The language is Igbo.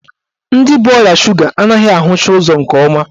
Ndị bu ọrịa suga anaghị ahụcha ụzọ nke ọma.